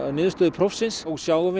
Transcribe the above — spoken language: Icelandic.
niðurstöðu prófsins við sjáum